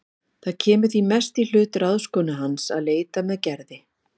Það kemur því mest í hlut ráðskonu hans að leita með Gerði.